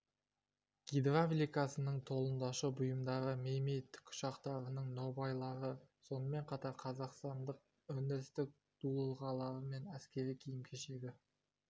гидравликасының толымдаушы бұйымдары ми ми тікұшақтарының нобайлары сонымен қатар қазақстандық өндірістің дулығалары мен әскери киім-кешегі